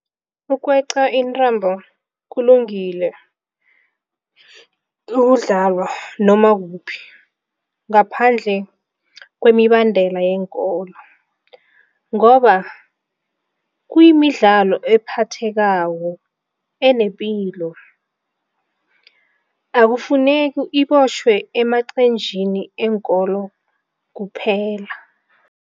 Ukweqa intambo kulungile noma kuphi ngaphandle kwemibandela weenkolo ngoba kuyimidlalo ephathekako, enepilo, akufuneki ibotjhwe emaqenjini eenkolo kuphela.